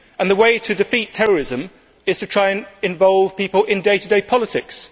The way to defeat terrorism is to try to involve people in day to day politics.